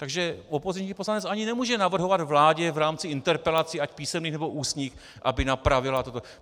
Takže opoziční poslanec ani nemůže navrhovat vládě v rámci interpelací ať písemných, nebo ústních, aby napravila toto.